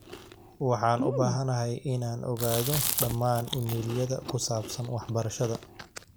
waxaan u baahanahay inaan ogaado dhammaan iimaylyada ku saabsan waxbarashada